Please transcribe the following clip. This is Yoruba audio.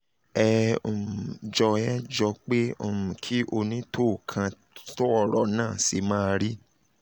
ẹ um jọ̀ ẹ jọ pé um kí onítóò kan tọ́ ọ̀rọ̀ um náà ṣe máa rí